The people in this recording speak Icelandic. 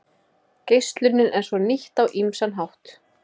Geislunin er svo nýtt á ýmsan hátt.